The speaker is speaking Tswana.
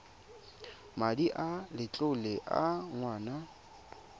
madi a letlole a ngwana